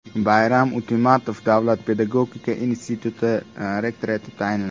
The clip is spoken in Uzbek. Bayram Utemuratov Nukus davlat pedagogika instituti rektori etib tayinlandi.